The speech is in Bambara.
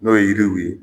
N'o ye yiriw ye